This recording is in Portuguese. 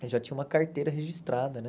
Eu já tinha uma carteira registrada.